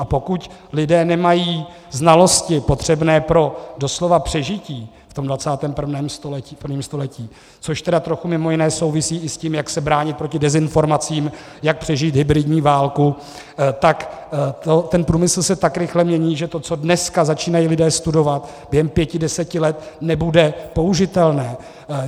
A pokud lidé nemají znalosti potřebné pro doslova přežití v tom 21. století, což tedy trochu mimo jiné souvisí i s tím, jak se bránit proti dezinformacím, jak přežít hybridní válku, tak ten průmysl se tak rychle mění, že to, co dneska začínají lidé studovat, během pěti deseti let nebude použitelné.